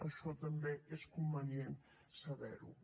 això també és convenient saber ho